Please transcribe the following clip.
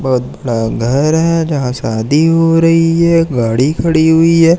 बहुत बड़ा घर है जहां शादी हो रही है एक गाड़ी खड़ी हुई है।